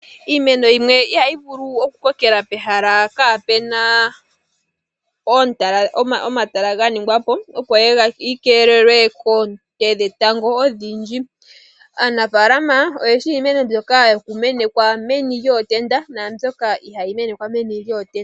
Iimeno yimwe iha yi vulu oku kokela pehala kaa pu na omatala ga ningwa po, opo yi keelelwe koonte dhetango odhindji. Aanafaalama oye shi iimeno mbyoka ha yi menekwa meni lyootenda naambyoka iha yi menekwa meni lyootenda.